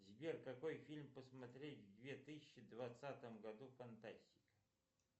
сбер какой фильм посмотреть в две тысячи двадцатом году фантастик